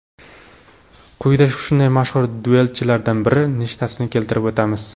Quyida shunday mashhur duelchilardan bir nechtasini keltirib o‘tamiz.